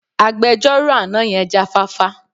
Agbejọ́rò àná yẹn jáfáfá.